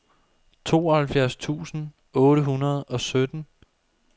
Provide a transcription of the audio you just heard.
tooghalvfjerds tusind otte hundrede og sytten